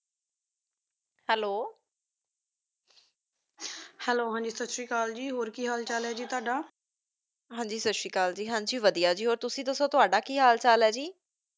Hello hello ਹਾਂਜੀ ਸਾਸਰੀਕਾਲ ਜੀ ਹੋਰ ਕੀ ਹਾਲ ਚਲ ਆਯ ਤ੍ਵਾਦਾ ਹਾਂਜੀ ਸ਼ਾਸ਼੍ਰੀਕਲ ਜੀ ਹਾਂਜੀ ਵਾਦਿਯ ਜੀ ਤੁਸੀਂ ਦਸੋ ਤ੍ਵਾਦਾ ਕੀ ਹਾਲ ਚਲ ਆ ਜੀ